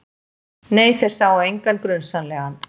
Nei, þeir sáu engan grunsamlegan.